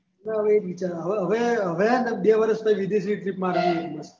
હા હવે એજ વિચારું હવ હવે હવે એ ને બે વર્ષ પછી વિદેશ ની trip માર્યીયે બસ